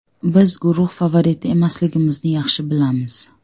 Biz guruh favoriti emasligimizni yaxshi bilamiz.